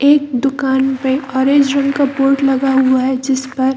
एक दुकान पे ऑरेंज रंग का बोर्ड लगा हुआ है जिसपर --